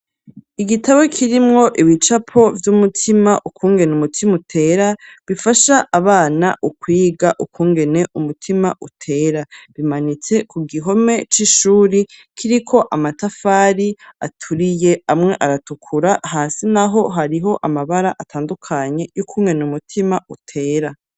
Igitabo kirimwo ibicapo vy'umutima, ukungene umutima utera, bifasha abana ukwiga ukungene umutima utera; bimanitse ku gihome c'ishuri, kiriko amatafari aturiye, amwe aratukura, hasi naho hariho amabara atandukanye, y'ukungene umutima utera.